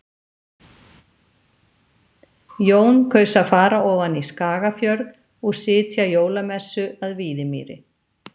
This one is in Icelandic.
Jón kaus að fara ofan í Skagafjörð og sitja jólamessu að Víðimýri.